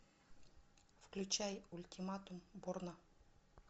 включай ультиматум борна